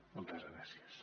moltes gràcies